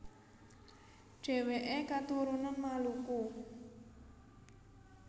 Dhèwèké katurunan Maluku